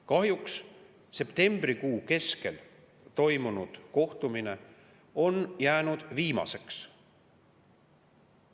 Kahjuks on septembrikuu keskel toimunud kohtumine jäänud viimaseks.